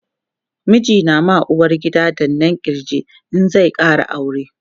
miji na ma uwargida danna kirji in zai Kara aure